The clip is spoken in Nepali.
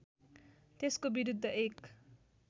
त्यसको विरुद्ध एक